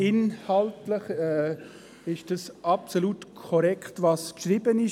Inhaltlich ist absolut korrekt, was er geschrieben hat.